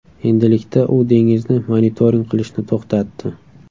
Endilikda u dengizni monitoring qilishni to‘xtatdi.